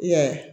I y'a ye